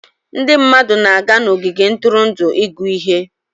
Ndị mmadụ na-aga n'ogige ntụrụndụ ịgụ ihe.